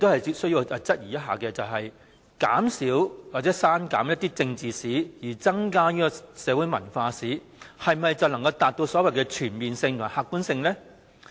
第一，我質疑減少或刪減政治史，繼而增加社會文化史，是否便可以達到所謂的全面性和客觀性呢？